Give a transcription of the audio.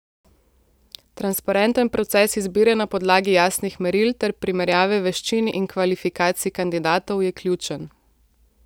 Transparenten proces izbire na podlagi jasnih meril ter primerjave veščin in kvalifikacij kandidatov je ključen.